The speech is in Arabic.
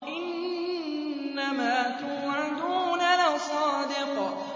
إِنَّمَا تُوعَدُونَ لَصَادِقٌ